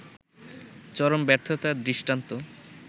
চরম ব্যর্থতার দৃষ্টান্ত